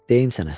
Deyim sənə.